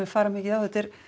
fara mikið á þetta er